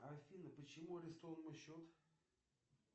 афина почему арестован мой счет